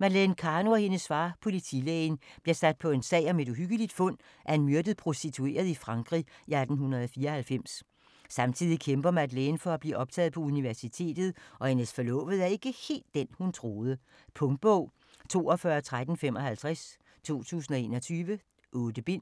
Madeleine Karno og hendes far, politilægen, bliver sat på en sag om et uhyggeligt fund af en myrdet prostitueret i Frankrig i 1894. Samtidig kæmper Madeleine for at blive optaget på universitetet, og hendes forlovede er ikke helt den, hun troede. Punktbog 421355 2021. 8 bind.